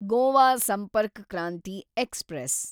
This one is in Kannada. ಗೋವಾ ಸಂಪರ್ಕ್ ಕ್ರಾಂತಿ ಎಕ್ಸ್‌ಪ್ರೆಸ್